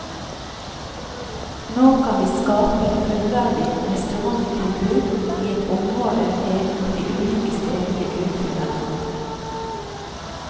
Nå kan vi skape et fullverdig restauranttilbud i et område ved at de ulike stedene utfyller hverandre.